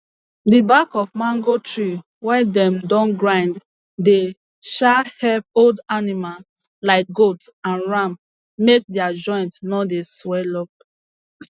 di bak of mango tree wey dem don grind dey um epp old anima like goat and ram make dia joint no dey swel up